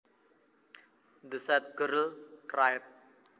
The sad girl cried